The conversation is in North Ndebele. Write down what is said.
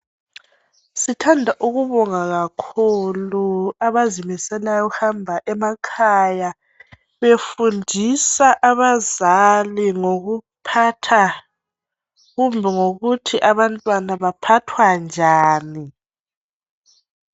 Sithanda ukubonga kakhulu abazimiselayo ngokuhambe befundisa abazali ngokuphatha kumbe ngokuthi abantwana baphathwa njani